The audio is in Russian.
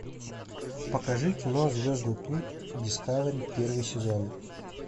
покажи кино звездный путь дискавери первый сезон